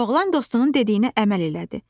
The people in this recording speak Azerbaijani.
Oğlan dostunun dediyinə əməl elədi.